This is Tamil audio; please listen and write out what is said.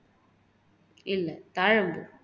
இல்லை தாழம்பூ